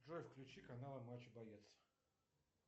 джой включи канал матч боец